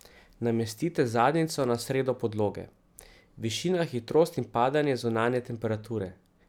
Namestite zadnjico na sredo podloge.